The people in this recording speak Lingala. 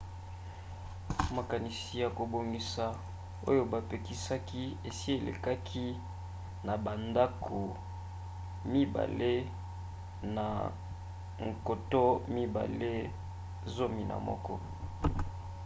makanisi ya kobongisa oyo bapesaki esi elekaki na bandako mibale na 2011